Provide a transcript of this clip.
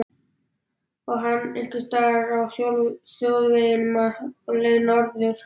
Og hann einhvers staðar á þjóðvegunum á leið norður.